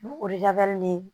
Ni o ye labali ni